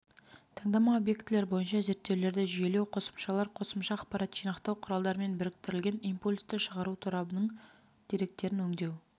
таңдама объектілер бойынша зерттеулерді жүйелеу қосымшалар қосымша ақпарат жинақтау құралдарымен біріктірілген импульсті шығару торабының деректерін өңдеу